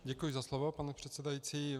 Děkuji za slovo, pane předsedající.